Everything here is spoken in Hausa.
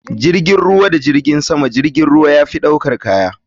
jirgin ruwa da jirgin sama jirgin ruwa yafi ɗaukan kaya.